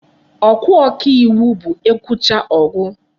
Okwu ọka iwu bụ e kwuchaa, ọ gụ.